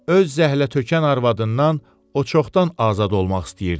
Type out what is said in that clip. Öz zəhlətökən arvadından o çoxdan azad olmaq istəyirdi.